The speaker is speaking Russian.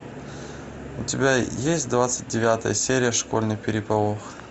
у тебя есть двадцать девятая серия школьный переполох